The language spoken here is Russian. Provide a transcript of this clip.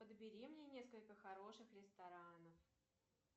подбери мне несколько хороших ресторанов